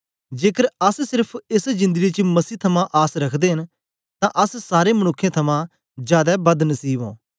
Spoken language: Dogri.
जेकर अस सेर्फ एस जिंदड़ी च मसीह थमां आस रखदे न तां अस सारें मनुक्खें थमां जादै बद नसीब ओं